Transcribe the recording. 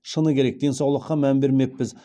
шыны керек денсаулыққа мән бермеппіз